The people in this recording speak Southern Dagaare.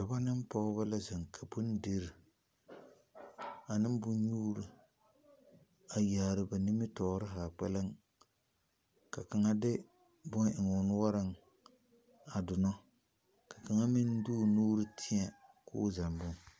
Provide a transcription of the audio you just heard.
Dɔbɔ ne pɔgebɔ la zeŋ ka bondirii ane bonnyuuri a yaare ba nimitɔɔre haa kpɛlɛŋ ka kaŋa de boŋ eŋ o noɔreŋ a donɔ ka kaŋa meŋ de o nuuri tēɛ k'o zɛŋ boŋ.